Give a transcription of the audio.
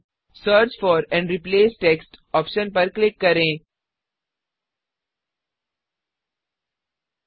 search for and replace text search for and replace text option पर click करें